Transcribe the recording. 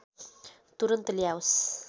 तुरुन्त ल्याओस्